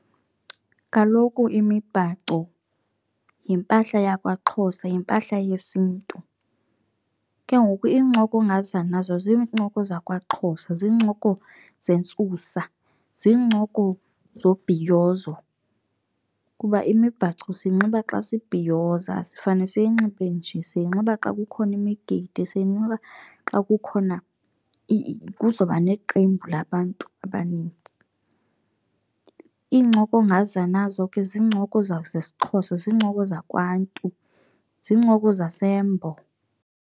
Kaloku imibhaco yimpahla yakwaXhosa, yimpahla yesiNtu. Ke ngoku iincoko ongaza nazo zincoko zakwaXhosa, ziincoko zentsusa, ziincoko zobhiyozo kuba imibhaco siyinxiba xa sibhiyoza, asifane siyinxibe nje. Siyinxiba xa kukhona imigidi, siyinxiba xa kukhona kuzoba neqembu labantu abaninzi. Iincoko ongaza nazo ke ziincoko zesiXhosa, zincoko zakwaNtu, zincoko zaseMbo.